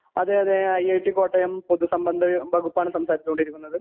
അതേ അതേ I I T Kottayam പൊതു സംബന്ധ വകുപ്പാണ് സംസാരിച്ച് കൊണ്ടിരിക്കുന്നത്